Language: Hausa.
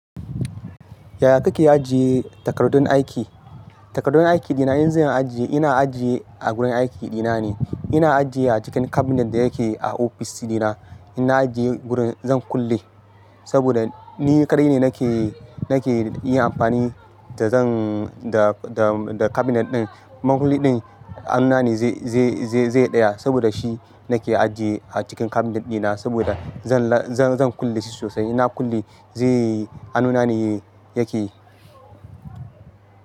Yaya kake ajiye takardun aiki? Takardun aiki dina, in zan ajiye, ina ajiye a gurin aiki dina ne. Ina ajiye a cikin cabinet da yake a ofis dina. Ina ajiye gurin zan kulle saboda ni kaɗai ne nake, nake yin amfani da zan, da, da, da cabinet ɗin. Man kulli ɗin hanuna ne zai, zai, zai, zai tsaya saboda shi nake ajiye a cikin cabinet dina saboda zan, zan, zan kulle shi sosai. Ina kulle zai hanuna ne yake yi.